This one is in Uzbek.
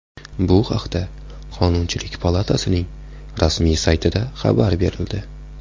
Bu haqda Qonunchilik palatasining rasmiy saytida xabar berildi .